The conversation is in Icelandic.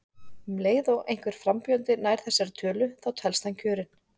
Um leið og einhver frambjóðandi nær þessari tölu þá telst hann kjörinn.